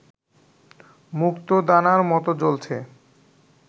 মুক্তোদানার মতো জ্বলছে